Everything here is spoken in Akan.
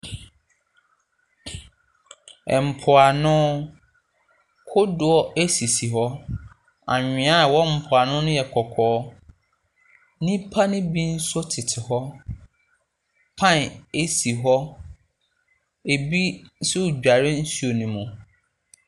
Ɛmpoano. kodoɔ ɛsisi hɔ. Anwea a ɛwɔ mpoano no yɛ kɔkɔɔ. Nnipa ne bi nso tete hɔ. Paen ɛsi hɔ. Ɛbi nso dware nsuo ne mu.